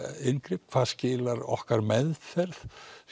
inngrip hvað skilar okkar meðferð